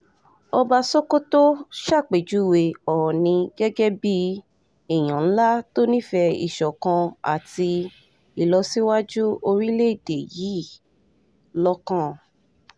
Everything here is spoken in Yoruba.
ọba sokoto ṣàpèjúwe oòní gẹ́gẹ́ bíi èèyàn ńlá tó nífẹ̀ẹ́ ìṣọ̀kan àti ìlọsíwájú orílẹ̀‐èdè yìí lọ́kàn